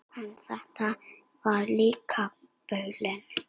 En þetta var líka bilun.